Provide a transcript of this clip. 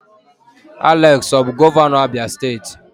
Alex ọ bụ gọvanọ Abia steeti?